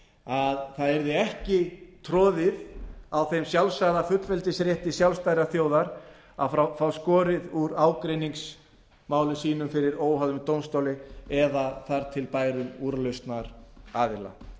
að það yrði ekki troðið á þeim sjálfsagða fullveldisrétti sjálfstæðrar þjóðar að fá skorið úr ágreiningsmálum sínum fyrir óháðum dómstóli eða þar til bærum úrlausnaraðila